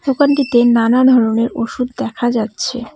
দোকানটিতে নানা ধরনের ওষুধ দেখা যাচ্ছে।